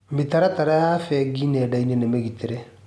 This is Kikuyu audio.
Mĩtaratara ya bengi nenda-inĩ nĩ mĩgitĩre.